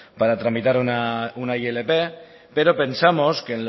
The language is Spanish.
para tramitar una ilp pero pensamos que